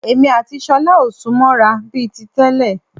Èmi àti ṣọlá ò sún mọ́ ra bíi ti tẹ́lẹ̀